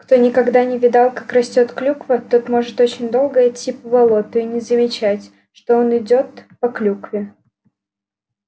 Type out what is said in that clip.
кто никогда не видал как растёт клюква тот может очень долго идти по болоту и не замечать что он по клюкве идёт